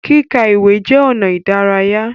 Kíka ìwé jẹ ọnà idaraya.